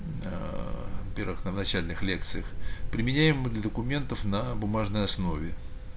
ээ первых на начальник лекциях применяем мы для документов на бумажной основе